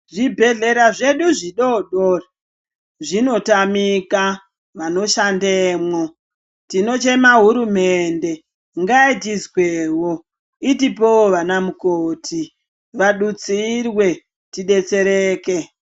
Zvibhedhlera zvedu zvidodori zvinotamika vanoshandemo tinochema hurumende ngaitizwemo itipewo vana mukoti vadutsirwe tidetsereke.